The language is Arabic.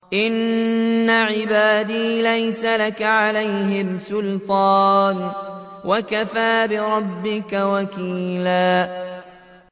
إِنَّ عِبَادِي لَيْسَ لَكَ عَلَيْهِمْ سُلْطَانٌ ۚ وَكَفَىٰ بِرَبِّكَ وَكِيلًا